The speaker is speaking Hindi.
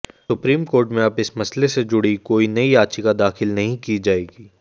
सुप्रीम कोर्ट में अब इस मसले से जुड़ी कोई नई याचिका दाखिल नहीं की जाएगी